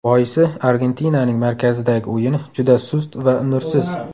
Boisi, Argentinaning markazidagi o‘yini juda sust va nursiz.